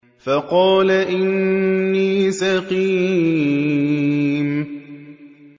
فَقَالَ إِنِّي سَقِيمٌ